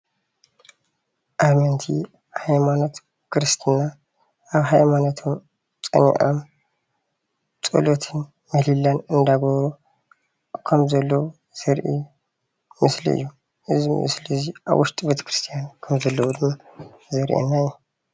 ኣመንቲ ሃይማኖት ክርስትና ኣብ ሃይማኖቶም ፀኒዖም ፀሎት እንዳካየዱ ምህሌላ እንዳገበሩ ከም ዘለዉ ዘርኢ ምስሊእዩ፡፡ እዚ ምስሊ እዚ ኣብ ውሽጢ ቤተ ክርስትያን ከም ዘለዉ ድማ ከም ዘርእየና እዩ፡፡